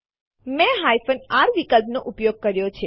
મેં r વિકલ્પ નો ઉપયોગ કર્યો છે